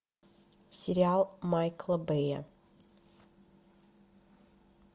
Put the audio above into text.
сериал майкла бэя